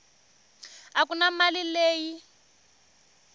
a ku na mali leyi